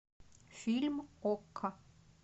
фильм окко